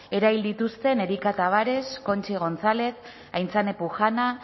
erail dituzten erika tabares conchi gonzález aintzane pujana